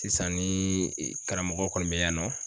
Sisan ni karamɔgɔ kɔni bɛ yan nɔ